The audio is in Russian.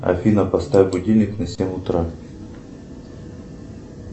афина поставь будильник на семь утра